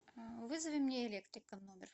вызови мне электрика в номер